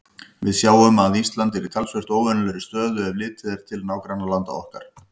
Við sjáum að Ísland er í talsvert óvenjulegri stöðu, ef litið er til nágrannalanda okkar.